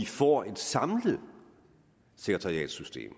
får et samlet sekretariatssystem